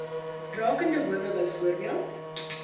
rakende howe byvoorbeeld